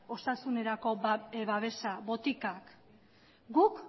osasuna babesteko botikak guk